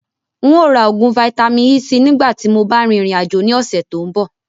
Ǹ ó ra oògùn Vitamin-E síí nìgbà tíì mo bá rìn ìrìn àjò ni ọ̀sẹ̀ tòun bọ̀